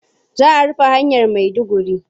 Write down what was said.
Za a rufe hanyar Maiduguri.